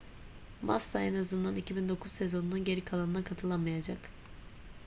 massa en azından 2009 sezonunun geri kalanına katılamayacak